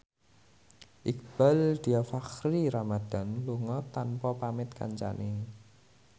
Iqbaal Dhiafakhri Ramadhan lunga tanpa pamit kancane